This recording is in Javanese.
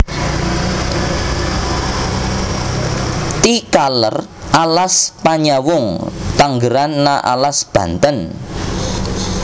Ti kaler alas Panyawung tanggeran na alas Banten